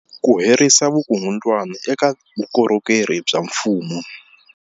Ku herisa vukungundwani eka vukorhokeri bya mfumo